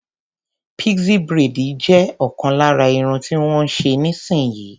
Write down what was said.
Pixie braid jẹ ọkan lára Irun tí wón ń ṣe níì sin yìí.